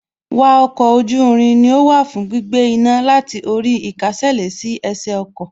Wa oko oju irin ni ó wà fún gbígbé iná láti orí īkásèlé sí ẹsẹ̀ ọkọ̀